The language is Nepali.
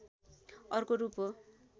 अर्को रूप हो